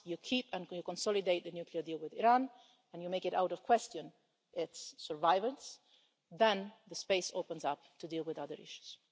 Once you keep and consolidate the nuclear deal with Iran and make its survival beyond question, then the space opens up to deal with other issues.